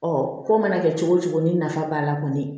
ko mana kɛ cogo cogo ni nafa b'a la kɔni